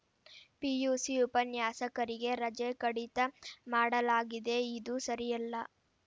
PUC ಉಪನ್ಯಾಸಕರಿಗೆ ರಜೆ ಕಡಿತ ಮಾಡಲಾಗಿದೆ ಇದು ಸರಿಯಲ್ಲ